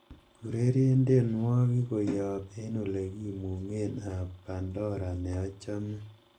ureren tienwogik koyop en olegimungen ab pandora neochome